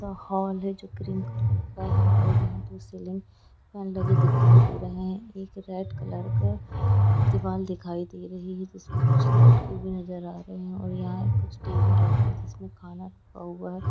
Hall हे जो green colour का है और जहा पे सीलिंग फेन लगे दिखाई दे रहे है एक रेड कलर का दीवाल दिखाई दे रही है जिस्मे कुछ लटके हुए नजर आ रहे है ओर यहा कुछ टेबल रहे है जिसमे कुछ खाना रखा हुआ हे ।